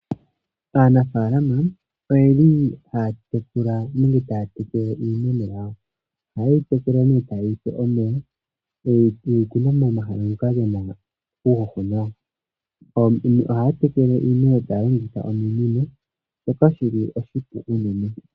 Aanafaalama oyeli haa tekele iimeno yawo. Ohaye yi tekele nee taye yi pe omeya ye yi kuna momahala ngoka gena uuhoho nawa. Ohaya tekele iimeno taye enditha ominino shoka shi li oshipu unene.